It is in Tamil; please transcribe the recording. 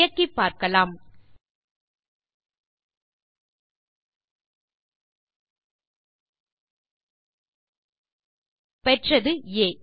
இயக்கிப்பார்க்கலாம் பெற்றது ஆ